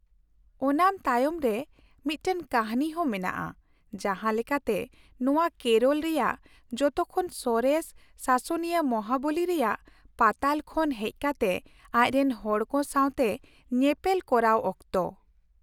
ᱳᱱᱟᱢ ᱛᱟᱭᱚᱢ ᱨᱮ ᱢᱤᱫᱴᱟᱝ ᱠᱟᱹᱦᱱᱤ ᱦᱚᱸ ᱢᱮᱱᱟᱜᱼᱟ, ᱡᱟᱦᱟᱸ ᱞᱮᱠᱟᱛᱮ, ᱱᱚᱶᱟ ᱠᱮᱨᱚᱞ ᱨᱮᱭᱟᱜ ᱡᱚᱛᱚ ᱠᱷᱚᱱ ᱥᱚᱨᱮᱥ ᱥᱟᱥᱚᱱᱤᱭᱟᱹ ᱢᱚᱦᱟᱵᱚᱞᱤ ᱨᱮᱭᱟᱜ ᱯᱟᱛᱟᱞ ᱠᱷᱚᱱ ᱦᱮᱡ ᱠᱟᱛᱮ ᱟᱡᱨᱮᱱ ᱦᱚᱲᱠᱚ ᱥᱟᱶᱛᱮ ᱧᱮᱯᱮᱞ ᱠᱚᱨᱟᱣ ᱚᱠᱛᱚ ᱾